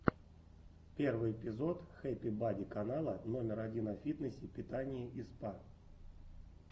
первый эпизод хэппи бади канала номер один о фитнесе питании и спа